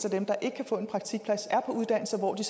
af dem der ikke kan få en praktikplads er på uddannelser hvor de